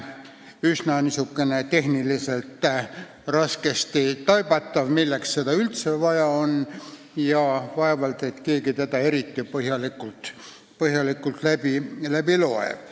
On üsna raskesti taibatav, milleks seda üldse vaja on, ja vaevalt et keegi seda eriti põhjalikult loeb.